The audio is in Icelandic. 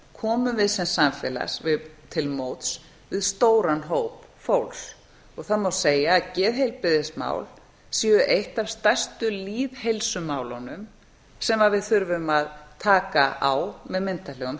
komum við sem samfélag til móts við stóran hóp fólks og það má segja að geðheilbrigðismál séu eitt af stærstu lýðheilsumálunum sem við þurfum að taka á með myndarlegum